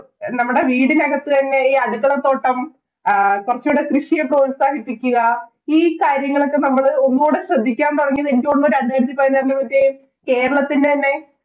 നമ്മടെ വീടിനകത്ത് തന്നെ ഈ അടുക്കള തോട്ടം, ആഹ് കൊറച്ചൂടെ കൃഷിയെ പ്രോത്സാഹിപ്പിക്കുക ഈ കാര്യങ്ങളൊക്കെ നമ്മള് ഒന്നൂടെ ശ്രദ്ധിക്കാന്‍ തുടങ്ങിയത് എനിക്ക് തോന്നുന്നു രണ്ടായിരത്തി പതിനാറ് കേരളത്തിന്‍റെ തന്നെ